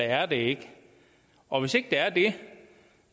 er det ikke og hvis ikke det